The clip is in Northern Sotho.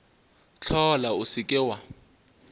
hlola o se ke wa